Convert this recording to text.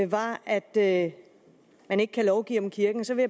var at at man ikke kan lovgive om kirken så vil